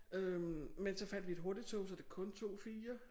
Øh men så fandt vi et hurtigtog så det kun tog 4